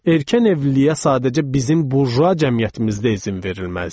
Erkən evliliyə sadəcə bizim burjua cəmiyyətimizdə izin verilməzdi.